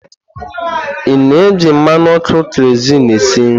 Ị na-eji mmanụ ọkụ keroziinu esi nri?